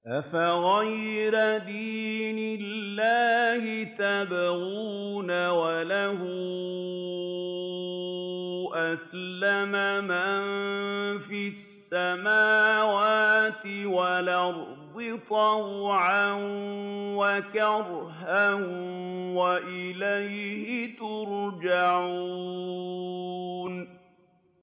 أَفَغَيْرَ دِينِ اللَّهِ يَبْغُونَ وَلَهُ أَسْلَمَ مَن فِي السَّمَاوَاتِ وَالْأَرْضِ طَوْعًا وَكَرْهًا وَإِلَيْهِ يُرْجَعُونَ